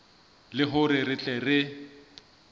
le hore re tle re